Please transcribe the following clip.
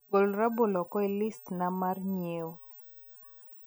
Gol rabolo oko e listi na mar ng'ieo